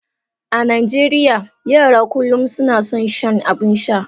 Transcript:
A Najeriya, yara kullum suna son shan abin sha.